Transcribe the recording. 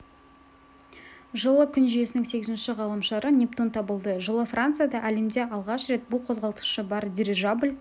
жылы күн жүйесінің сегізінші ғаламшары нептун табылды жылы францияда әлемде алғаш рет бу қозғалтқышы бар дирижабль